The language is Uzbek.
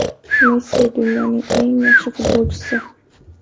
Messi dunyoning eng yaxshi futbolchisi.